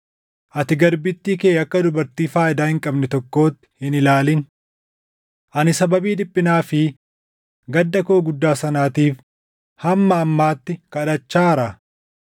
Ati garbittii kee akka dubartii faayidaa hin qabne tokkootti hin ilaalin. Ani sababii dhiphinaa fi gadda koo guddaa sanaatiif hamma ammaatti kadhachaara.”